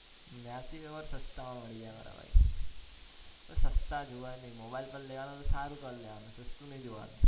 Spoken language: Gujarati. ન્યા થી ઓર સસ્તા મળી જાય મારા ભાઈ સસ્તા જોવાનું નહી mobile પર લેવાનું સારું cover લેવાનું સસ્તું નહી જોવાનું